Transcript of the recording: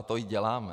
A to i děláme.